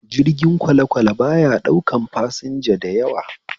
Jirgin kwalekwale baya ɗaukan fasanja dayawa